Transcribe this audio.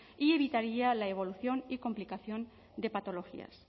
y evitaría la evolución y complicación de patologías